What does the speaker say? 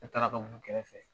Ne taara ka b'u kɛrɛfɛ